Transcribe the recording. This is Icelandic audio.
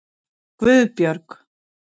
Guðbjörg